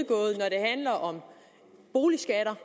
handler om boligskatter